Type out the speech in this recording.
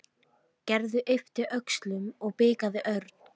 Gerður yppti öxlum og blikkaði Örn.